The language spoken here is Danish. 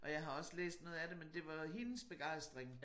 Og jeg har også læst noget af det men det var hendes begejstring